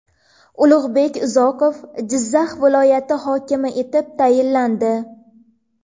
Ulug‘bek Uzoqov Jizzax viloyati hokimi etib tayinlandi.